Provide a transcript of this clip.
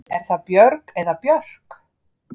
Er það Björg eða Björk?